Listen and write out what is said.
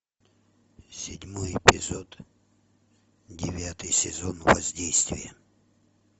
седьмой эпизод девятый сезон воздействие